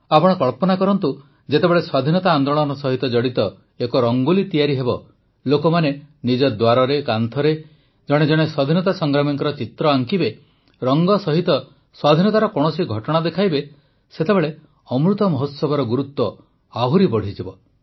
ଆପଣ କଳ୍ପନା କରନ୍ତୁ ଯେତେବେଳେ ସ୍ୱାଧୀନତା ଆନ୍ଦୋଳନ ସହିତ ଜଡ଼ିତ ଏକ ରଙ୍ଗୋଲି ତିଆରି ହେବ ଲୋକମାନେ ନିଜ ଦ୍ୱାରରେ କାନ୍ଥରେ ଏକ ସ୍ୱାଧୀନତା ସଂଗ୍ରାମୀଙ୍କ ଚିତ୍ର ଆଙ୍କିବେ ରଙ୍ଗ ସହିତ ସ୍ୱାଧୀନତାର କୌଣସି ଘଟଣା ଦେଖାଇବେ ସେତେବେଳ ଅମୃତ ମହୋତ୍ସବର ଗୁରୁତ୍ୱ ଆହୁରି ବଢ଼ିଯିବ